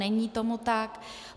Není tomu tak.